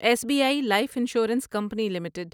S B I life insurance company limited